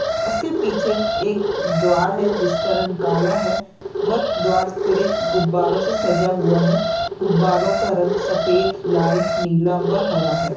उसके पीछे एक द्वार है जिसका रंग काला हे व द्वार पूरे गुब्बारों से सजा हुआ है गुबारों का रंग सफेद लाल नीला व हरा है।